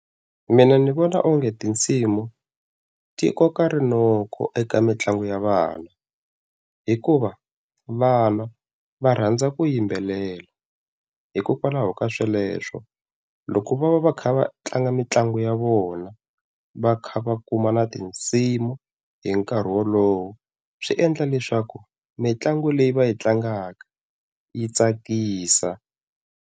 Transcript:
Mina ndzi vona onge tinsimu ti koka rinoko eka mitlangu ya vana, hikuva vana va rhandza ku yimbelela, hikokwalaho ka sweleswo loko va va va kha va tlanga mitlangu ya vona va kha va kuma na tinsimu hi nkarhi wolowo swi endla leswaku mitlangu leyi va yi tlangaka yi tsakisa.